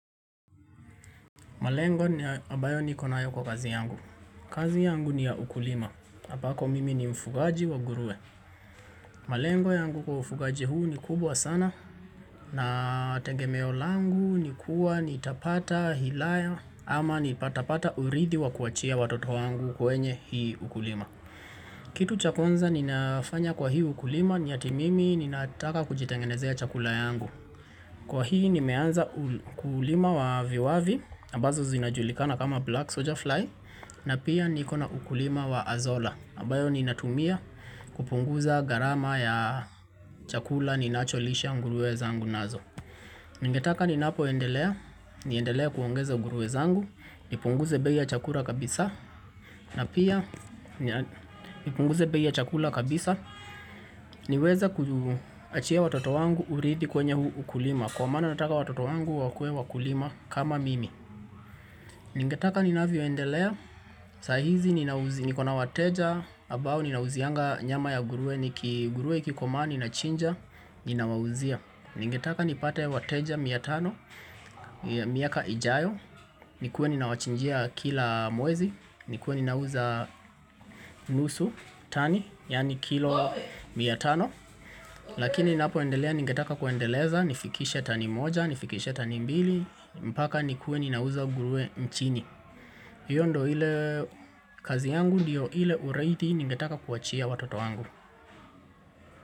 Malengo ni ambayo niko nayo kwa kazi yangu. Kazi yangu ni ya ukulima. Ambako mimi ni mfugaji wa nguruwe. Malengo yangu kwa ufugaji huu ni kubwa sana. Na tegemeo langu ni kuwa nitapata hilaya. Ama nitapata uridhi wa kuachia watoto wangu kwenye hii ukulima. Kitu cha kwanza ninafanya kwa hii ukulima ni ati mimi ninataka kujitengenezea chakula yangu. Kwa hii nimeanza ukulima wa viwavi. Ambazo zinajulikana kama black soldier fly na pia nikona ukulima wa azola ambayo ninatumia kupunguza gharama ya chakula ninacholisha nguruwe zangu nazo ningetaka ninapoendelea niendelee kuongeza nguruwe zangu, nipunguze bei ya chakula kabisa na pia nipunguze bei chakula kabisa niweze kuachia watoto wangu uridhi kwenye huu ukulima kwa maana nataka watoto wangu wakuwe wakulima kama mimi Ningetaka ninavyoendelea, saa hizi niko na wateja, ambao ninauzianga nyama ya nguruwe, nguruwe ikikomaa ninachinja, ninawauzia. Ningetaka nipate wateja mia tano, miaka ijayo, nikuwe ninawachinjia kila mwezi, nikuwe ninauza nusu, tani, yani kilo mia tano. Lakini ninapoendelea, ningetaka kuendeleza, nifikishe tani moja, nifikishe tani mbili, mpaka nikuwe ninauza nguruwe nchini. Hiyo ndio ile kazi yangu ndio ile uridhi ningetaka kuachia watoto wangu.